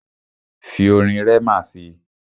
Fi orin Rema si!